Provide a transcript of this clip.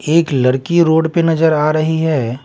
एक लड़की रोड पे नजर आ रही है ।